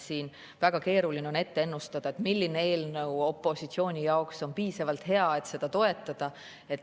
Siin on väga keeruline ennustada, milline eelnõu on opositsiooni jaoks piisavalt hea, et seda toetada.